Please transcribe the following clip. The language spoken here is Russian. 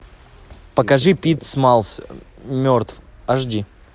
покажи пит смаллс мертв аш ди